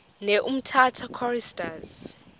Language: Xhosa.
ne umtata choristers